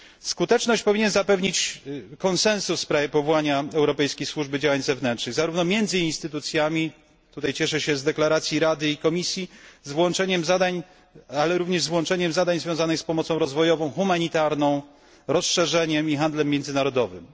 Skuteczność powinien zapewnić konsensus w sprawie powołania Europejskiej Służby Działań Zewnętrznych, zarówno między instytucjami, tutaj cieszę się z deklaracji Rady i Komisji, ale również z włączeniem zadań związanych z pomocą rozwojową, humanitarną, rozszerzeniem i handlem międzynarodowym.